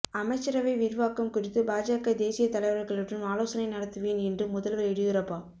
அமைச்சரவை விரிவாக்கம் குறித்து பாஜக தேசியத் தலைவா்களுடன் ஆலோசனை நடத்துவேன் என்று முதல்வா் எடியூரப்பா